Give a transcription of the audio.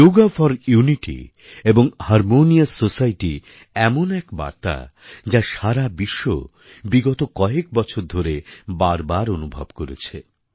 Yoga for unity এবং harmonious society এমন এক বার্তা যা সারা বিশ্ব বিগত কয়েক বছর ধরে বারবার অনুভব করেছে